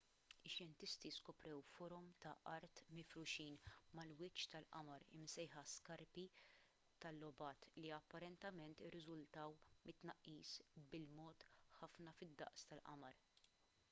ix-xjentisti skoprew forom ta' art mifruxin mal-wiċċ tal-qamar imsejħa skarpi tal-lobat li apparentement irriżultaw mit-tnaqqis bil-mod ħafna fid-daqs tal-qamar